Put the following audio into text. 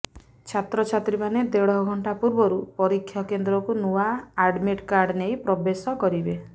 ଛାତ୍ରଛାତ୍ରୀମାନେ ଦେଢ଼ ଘଣ୍ଟା ପୂର୍ବରୁ ପରୀକ୍ଷା କେନ୍ଦ୍ରକୁ ନୂଆ ଆଡମିଟ୍ କାର୍ଡ ନେଇ ପ୍ରବେଶ କରିବେ